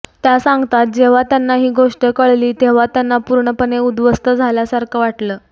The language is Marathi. त्या सांगतात जेव्हा त्यांना ही गोष्ट कळली तेव्हा त्यांना पूर्णपणे उद्ध्वस्त झाल्यासारखं वाटलं